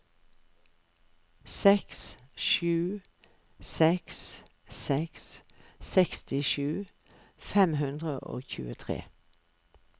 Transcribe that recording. seks sju seks seks sekstisju fem hundre og tjuetre